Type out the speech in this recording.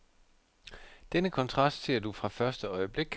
Denne kontrast ser du fra første øjeblik.